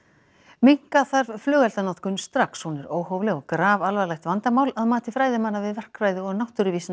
minnka þarf flugeldanotkun strax hún er óhófleg og grafalvarlegt vandamál að mati fræðimanna við verkfræði og